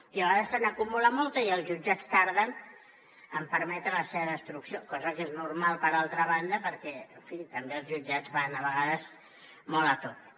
i a vegades se n’acumula molta i els jutjats tarden en permetre la seva destrucció cosa que és normal per altra banda perquè en fi també els jutjats van a vegades molt a tope